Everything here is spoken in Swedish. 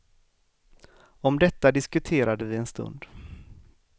Om detta diskuterade vi en stund.